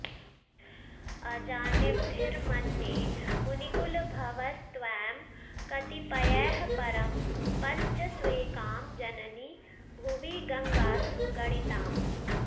अजानद्भिर्मन्ये मुनिकुलभवैस्त्वां कतिपयैः परं पञ्चस्वेकां जननि भुवि गङ्गासु गणिताम्